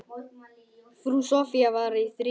Frú Soffía var að þrífa.